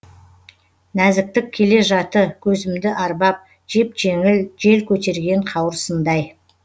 нәзіктік келе жаты көзімді арбап жеп жеңіл жел көтерген қауырсындай